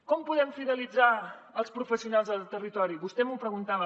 com podem fidelitzar els professionals al territori vostè m’ho preguntava